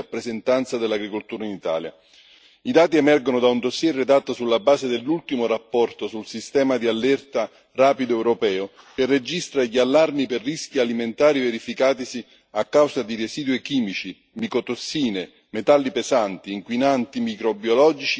I dati emergono da un dossier redatto sulla base dell'ultima relazione sul sistema di allerta rapido europeo, che registra gli allarmi per rischi alimentari verificatisi a causa di residui chimici, micotossine, metalli pesanti, inquinanti microbiologici, diossine, additivi e coloranti.